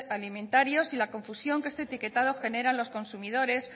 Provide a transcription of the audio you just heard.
alimentarios y la confusión que este etiquetado genera en los consumidores